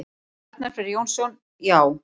Arnar Freyr Jónsson: Já.